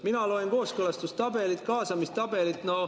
Mina loen kooskõlastustabelit ja kaasamistabelit.